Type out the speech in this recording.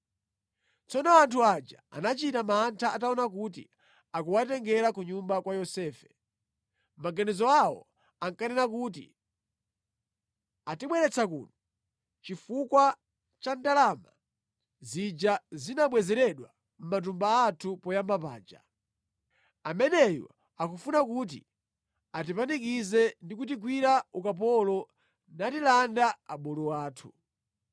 Tsono anthu aja anachita mantha ataona kuti akuwatengera ku nyumba kwa Yosefe. Mʼmaganizo awo ankanena kuti, “Atibweretsa kuno chifukwa cha ndalama zija zinabwezeredwa mʼmatumba athu poyamba paja. Ameneyu akufuna kuti atipanikize ndi kutigwira ukapolo natilanda abulu athu.”